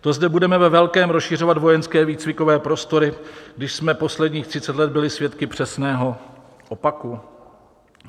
To zde budeme ve velkém rozšiřovat vojenské výcvikové prostory, když jsme posledních 30 let byli svědky přesného opaku?